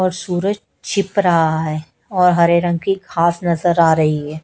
और सूरज छिप रहा हैं और हरे रंग की घास नजर आ रहीं हैं।